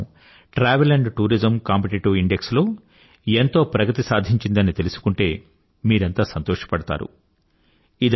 మన భారతదేశం travel and tourism competitive index లో ఎంతో ప్రగతి సాధించిందని తెలుసుకుంటే మీరంతా సంతోషపడతారు